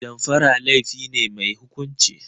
Damfara laifi ne mai hukunci.